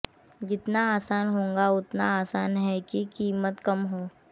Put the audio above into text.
जितना आसान होगा उतना आसान है कि कीमत कम हो